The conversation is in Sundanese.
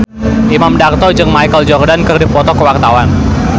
Imam Darto jeung Michael Jordan keur dipoto ku wartawan